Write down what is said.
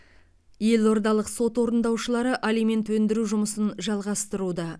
елордалық сот орындаушылары алимент өндіру жұмысын жалғастыруда